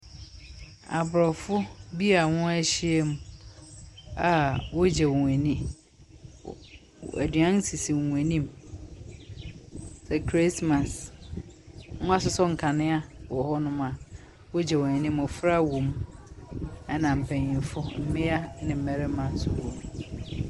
Abrɔfo bi a wɔn ahyia mu a wɔ gye wɔn ani. aduane ɛsisi wɔn anim. Sɛ krismas. Mo asosɔ nkanea wɔ hɔ no mo a wɔgye wɔn ani. Mmɔfra wɔ mu. Ɛna mpaninfo, mmea ne mmarima nso wɔ mu.